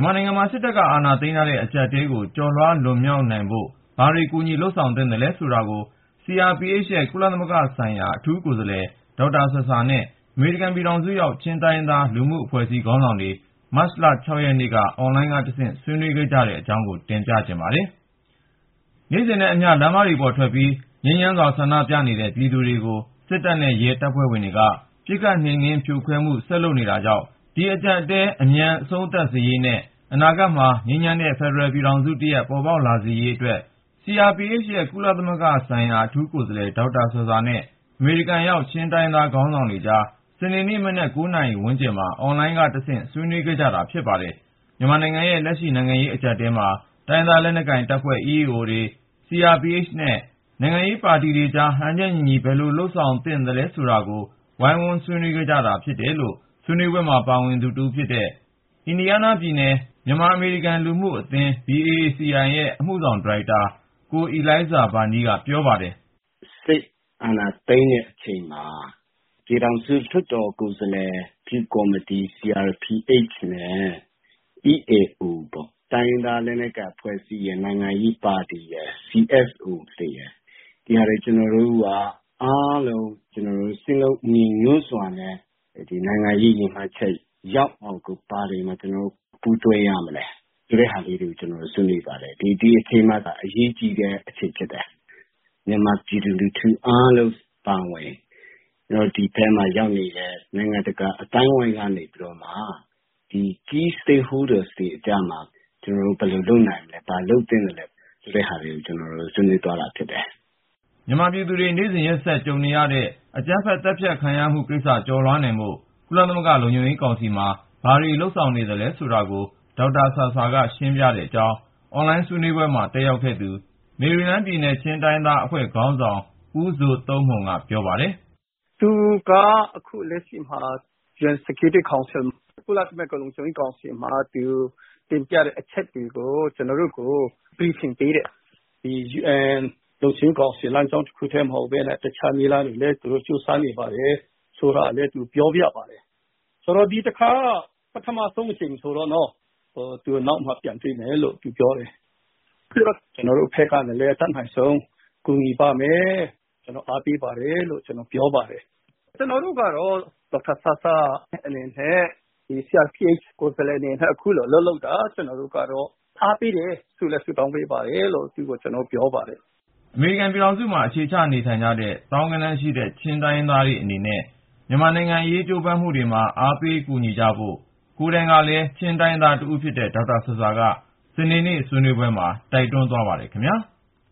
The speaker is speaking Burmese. ်မာနိုင်ငံမှာ စစ်တပ်က အာဏာသိမ်းထားတဲ့ အကြပ်အတည်းကို ကျော်လွှားလွန်မြောက်နိုင်ဖို့ ဘာတွေ ကူညီလုပ်ဆောင်သင့်သလဲ ဆိုတာကို CRPH ရဲ့ကုလသမဂ္ဂဆိုင်ရာ အထူးကိုယ်စားလှယ် ဒေါက်တာ ဆာဆာနဲ့ အမေရိကန်ပြည်ထောင်စုရောက် ချင်းတိုင်းရင်းသား လူမှုအဖွဲ့အစည်း ခေါင်းဆောင်တွေ မတ်လ ရက်နေ့က အွန်လိုင်းကတဆင့် ဆွေးနွေးခဲ့ကြတဲ့အကြောင်း ကိုဉာဏ်ဝင်းအောင် ဆက်သွယ်မေးမြန်း တင်ပြထားပါတယ်။ နေ့စဉ်နဲ့အမျှ လမ်းမပေါ်ထွက်ပြီး ငြိမ်းချမ်းစွာ ဆန္ဒပြနေတဲ့ ပြည်သူတွေကို စစ်တပ်နဲ့ရဲ တပ်ဖွဲ့ဝင်တွေက ပစ်ခတ်နှိမ်နင်းဖြိုခွဲမှု ဆက်လုပ်နေတာကြောင့် ဒီအကြပ်အတည်း အမြန် အဆုံးသတ်စေရေးနဲ့ အနာဂတ်မှာ ငြိမ်းချမ်းတဲ့ ဖယ်ဒရယ်ပြည်ထောင်စုတရပ် ပေါ်ပေါက်လာစေရေးအတွက် ပြည်ထောင်စုလွှတ်တော်ကိုယ်စားပြုကော်မတီ CRPH ရဲ့ ကုလသမဂ္ဂဆိုင်ရာ အထူးကိုယ်စားလှယ် ဒေါက်တာ ဆာဆာနဲ့ အမေရိကန်ရောက် ချင်းတိုင်းရင်းသား ခေါင်းဆောင်တွေကြား စနေနေ့မနက် ၉ နာရီဝန်းကျင်မှာ အွန်လိုင်းကတဆင့် ဆွေးနွေးခဲ့ကြတာ ဖြစ်ပါတယ်။ မြန်မာနိုင်ငံရဲ့ လက်ရှိ နိုင်ငံရေးအကြပ်အတည်းမှာ တိုင်းရင်းသားလက်နက်ကိုင်တပ်ဖွဲ့ EAOs တွေ ၊ CRPH နဲ့ နိုင်ငံရေးပါတီတွေကြား ဟန်ချက်ညီညီ ဘယ်လို ဆောင်ရွက်သင့်တယ် ဆိုတာကို ဝိုင်းဝန်း ဆွေးနွေး ခဲ့ကြတယ်လို့ ဆွေးနွေးပွဲမှာ ပါဝင်သူတဦးဖြစ်တဲ့ အင်ဒီယားနားပြည်နယ် မြန်မာ-အမေရိကန် လူမှုကူညီရေးအသင်း BACI ရဲ့ အမှုဆောင် ဒါရိုက်တာ ကိုအီလိုင်းဇာဘာနီးက ပြောပါတယ်။ " စစ်အာဏာ သိမ်းထားတဲ့အချိန်မှာ CRPH နဲ့ EAOs ပေါ့ တိုင်းရင်းသားလက်နက်ကိုင် အဖွဲ့အစည်းတွေရယ် ၊ နိုင်ငံရေးပါတီတွေရယ် ၊ အရပ်ဖွဲ့ လူမှုအဖွဲ့အစည်းတွေရယ် ဒီဟာတွေ အားလုံးက စည်းလုံးညီညွတ်စွာနဲ့ နိုင်ငံရေး ရည်မှန်းချက်ရောက်အောင် ဘယ်ကိစ္စတွေမှာ ကျနော်တို့ ပူးတွဲလုပ်ဆောင်ကြမလဲ ဆိုတာတွေကို ကျနော်တို့ ဆွေးနွေးကြပါတယ်။ ဒီ အချိန်ဟာ အရေးကြီးတဲ့ အချိန်လည်းဖြစ်တယ် ဆိုတော့ မြန်မာပြည်သူလူထု အားလုံး အပါအဝင် ကျနော်တို့ ဒီအပြင်မှာ ရောက်နေတဲ့ နိုင်ငံတကာ အသိုင်းအဝိုင်းက နေပြီးတော့မှ ဒီ Key Stakeholders အဓိကကျတဲ့ ဦးဆောင်သူတွေကြားမှာ ဘာလုပ် နိုင်မလဲ ဘာလုပ်သင့်သလဲ ဆိုတဲ့ဟာတွေကို ကျနော်တို့ ဆွေးနွေးကြတာဖြစ်တယ်။ " မြန်မာပြည်သူတွေ နေ့စဉ်ရင်ဆိုင်နေရတဲ့ အကြမ်းဖက် သတ်ဖြတ် ခံနေရတဲ့ကိစ္စ ကျော်လွှားနိုင်ဖို့ ကုလသမဂ္ဂ လုံခြုံရေးကောင်စီမှာ ဘာတွေလုပ်ဆောင်နေသလဲ ဆိုတာကို ဒေါက်တာ ဆာဆာက ရှင်းပြတဲ့အကြောင်း အွန်လိုင်းဆွေးနွေးပွဲ တက်ရောက်ခဲ့သူ မေရီလန်းပြည်နယ် ချင်းတိုင်းရင်းသားများအဖွဲ့ ခေါင်းဆောင် ဦးဇိုသုန်းမှုန်က ပြောပါတယ်။ " သူက လက်ရှိမှာ ကုလသမဂ္ဂ လုံခြုံရေးကောင်စီမှာ သူ တင်ပြတဲ့အချက်တွေကို ကျနော်တို့တွေကို ပြန်ရှင်းပြတယ်။ ဒီ လုံခြုံရေးကောင်စီ နည်းလမ်းတခုထဲ မဟုတ်ပဲနဲ့ အခြားနည်းလမ်းတွေနဲ့လည်း သူတို့ ကြိုးစားနေပါတယ် ဆိုတာကိုလည်း သူပြောပြပါတယ်။ အခုလို ကျနော်တို့ တွေ့ဆုံဆွေးနွေးကြတာက ပထမအကြိမ်ဆိုတော့ နောက်တခါ ထပ်တွေ့မယ်လို့ သူပြောပါတယ်။ ပြီးတော့ ကျနော်တို့ဘက်ကလည်း အတတ်နိုင်ဆုံး ကူညီပါ့မယ် ကျနော်တို့ အားပေးနေပါတယ်လို့ ပြောကြပါတယ်။ ကျနော်တို့ကလည်း ဒေါက်တာဆာဆာ အနေနဲ့ CRPH ကိုယ်စားလှယ်အနေနဲ့ အခုလို အလုပ်လုပ်တာကို အားပေးနေတယ် ဆုလည်း ဆုတောင်းပေးပါတယ်လို့ သူ့ကို ပြောပါတယ်။ " အမေရိကန်ပြည်ထောင်စုမှာ အခြေချနေထိုင်နေကြတဲ့ သောင်းဂဏန်းရှိတဲ့ ချင်းတိုင်းရင်းသားတွေ အနေနဲ့ မြန်မာနိုင်ငံအရေး ကြိုးပမ်းမှုတွေမှာ အားပေးကူညီချဖို့ ကိုယ်တိုင်ကလည်း ချင်းတိုင်းရင်းသားတဦးဖြစ်တဲ့ ဒေါက်တာဆာဆာက စနေနေ့ ဆွေးနွေးရာမှာ တိုက်တွန်းခဲ့ပါတယ်ခင်ဗျာ။